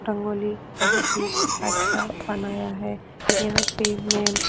रंगोली बहुत ही अच्छा बनाया है यहाँ पे मैम --